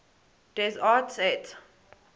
des arts et